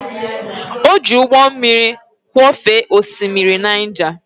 Ọ jị ụgbọ mmiri kwọfee oshimiri Naija.